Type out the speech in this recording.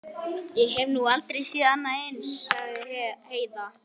Ég hef nú aldrei séð annað eins, sagði Heiða.